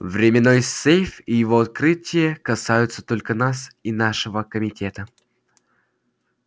временной сейф и его открытие касаются только нас и нашего комитета